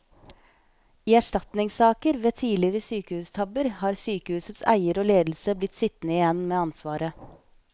I erstatningssaker ved tidligere sykehustabber har sykehusets eier og ledelse blitt sittende igjen med ansvaret.